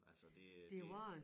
Altså det øh det